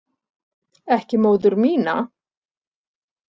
Ekki móður mína.